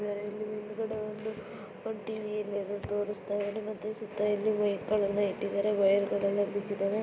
ಇದರಲ್ಲಿ ಹಿಂದಗಡೆ ಒಂದು ಒಂದ್ ಟಿ ವಿ ಹಿಂದೆ ತೋರಸ್ತಾಯಿದ್ದಾರೆ ಮತ್ತೆ ಸುತ್ತಾ ಇಲ್ಲಿ ವೆಕ್ಗಳ್ ಇಟ್ಟಿದ್ದಾರೆ. ವೈರ್ ಗಲ್ಲೆಲ್ಲ ಬಿದ್ದಿದ್ದಾವೆ.